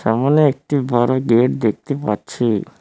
সামনে একটি বড় গেট দেখতে পাচ্ছি।